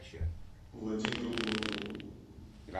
владимиру глотову